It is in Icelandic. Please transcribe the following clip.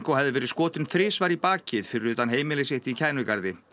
hefði verið skotinn þrisvar í bakið fyrir utan heimili sitt í Kænugarði